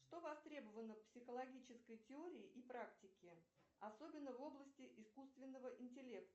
что востребовано в психологической теории и практики особенно в области искусственного интеллекта